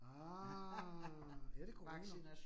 Ah, er det corona?